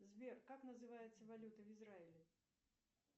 сбер как называется валюта в израиле